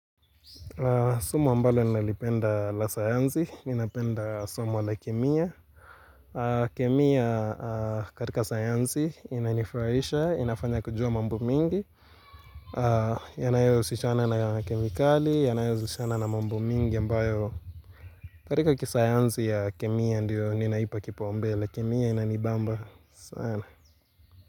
Somo ambalo nalipenda la sayansi, napenda somo la kemia kemia katika sayansi inanifurahisha, inafanya kujua mambo mingi Yanayohusishana na kemikali, yanayohusishana na mambo mingi ambayo katika kisayansi ya kemia ndio ninaipa kipaumbele, kemia inanibamba sana.